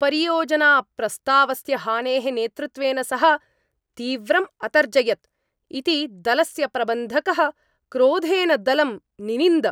परियोजनाप्रस्तावस्य हानेः नेतृत्वेन सः तीव्रम् अतर्जयत् इति दलस्य प्रबन्धकः क्रोधेन दलं निनिन्द।